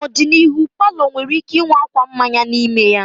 N'ọdịnihu, palọ nwere ike ịnwe akwa mmanya n'ime ha.